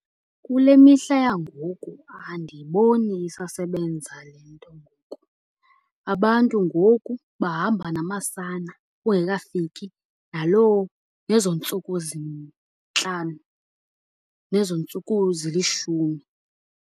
Kule mihla yangoku andiboni isasebenza le nto ngoku. Abantu ngoku bahamba namasana kungekafiki naloo, nezo ntsuku zintlanu, nezo ntsuku zilishumi.